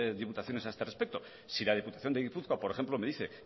diputaciones a este respecto si la diputación de gipuzkoa por ejemplo me dice